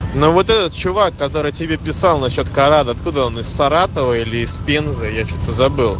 ну вот этот чувак который тебе писал насчёт карат откуда он из саратова или из пензы я что-то забыл